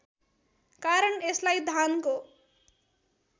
कारण यसलाई धानको